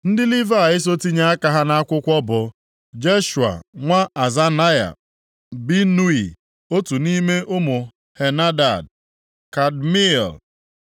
Ndị Livayị so tinye aka ha nʼakwụkwọ bụ, Jeshua nwa Azanaya, Binui otu nʼime ụmụ Henadad, Kadmiel,